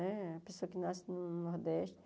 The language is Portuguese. Né a pessoa que nasce no Nordeste.